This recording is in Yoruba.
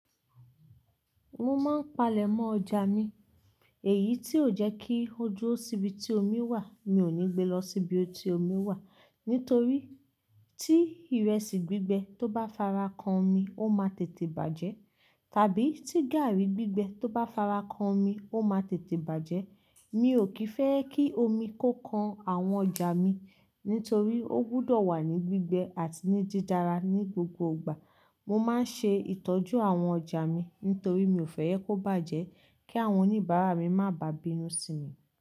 Mo máa ń palẹ̀mọ́ ọjà mi, èyí tí ó jẹ́ kí ó dúró síbi tí omi wà. Mi ò ní gbe lọ síbi tí omi wà nítorí tí ìrẹsì gbígbẹ tó bá fara kan omi, ó máa tètè bàjẹ́. Tàbí tí gààrí gbígbẹ tó bá fara kan omi, ó máa tètè bàjẹ́. Mi ò kì í fẹ́ kí omi kó kan àwọn ọjà mi nítorí ó gbúdọ̀ wà ní gbígbẹ àti ní dídára ní gbogbo ìgbà. Mo máa ń ṣe ìtọ́jú àwọn ọjà mi nítorí mi ò fẹ́ jẹ́ kó bàjẹ́ kí àwọn oníbàárà mi má bà bínú sí mi.